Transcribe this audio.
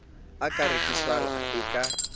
e ka rekiswang e ka